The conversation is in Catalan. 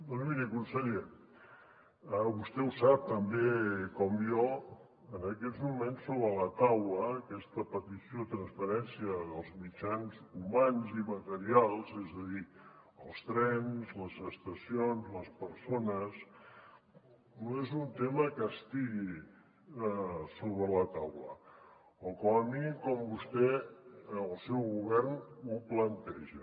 doncs miri conseller vostè ho sap tan bé com jo en aquests moments sobre la taula aquesta petició de transferència dels mitjans humans i materials és a dir els trens les estacions les persones no és un tema que estigui sobre la taula o com a mínim com vostè el seu govern ho planteja